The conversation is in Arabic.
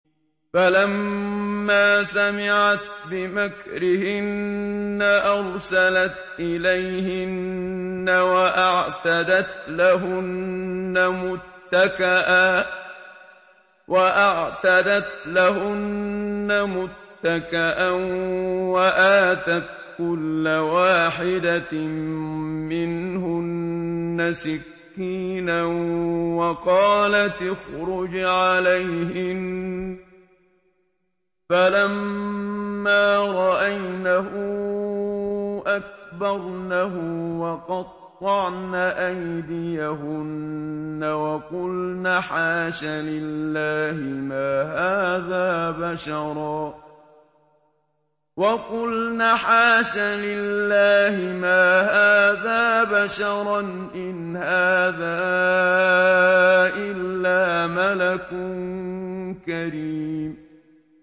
فَلَمَّا سَمِعَتْ بِمَكْرِهِنَّ أَرْسَلَتْ إِلَيْهِنَّ وَأَعْتَدَتْ لَهُنَّ مُتَّكَأً وَآتَتْ كُلَّ وَاحِدَةٍ مِّنْهُنَّ سِكِّينًا وَقَالَتِ اخْرُجْ عَلَيْهِنَّ ۖ فَلَمَّا رَأَيْنَهُ أَكْبَرْنَهُ وَقَطَّعْنَ أَيْدِيَهُنَّ وَقُلْنَ حَاشَ لِلَّهِ مَا هَٰذَا بَشَرًا إِنْ هَٰذَا إِلَّا مَلَكٌ كَرِيمٌ